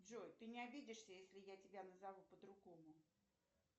джой ты не обидишься если я тебя назову по другому